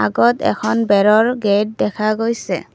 আগত এখন বেৰৰ গেট দেখা গৈছে।